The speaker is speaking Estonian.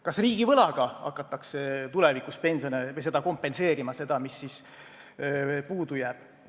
Kas riigivõlaga hakatakse tulevikus pensione makstes seda kompenseerima, mis puudu jääb?